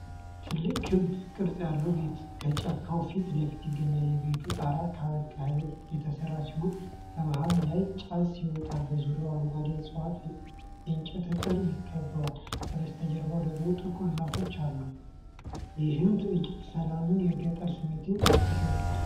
ትልቅ ክብ ቅርጽ ያለው ቤት ከጫካው ፊት ለፊት ይገኛል። የቤቱ ጣራ ከገለባ የተሠራ ሲሆን፣ ከመሃሉ ላይ ጭስ ይወጣል። በዙሪያው አረንጓዴ ዕፅዋትና የእንጨት አጥር ይከበዋል፤ ከበስተጀርባው ደግሞ ጥቁር ዛፎች አሉ። ይህ ትዕይንት ሰላምንና የገጠርን ስሜት ይገልጻል።